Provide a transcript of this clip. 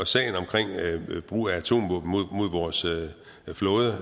sagen omkring brug af atomvåben mod vores flåde